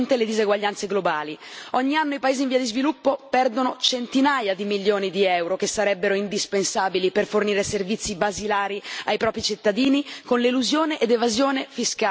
Ogni anno i paesi in via di sviluppo perdono centinaia di milioni di euro, che sarebbero indispensabili per fornire servizi basilari ai propri cittadini, con l'elusione e l'evasione fiscale di compagnie nostre.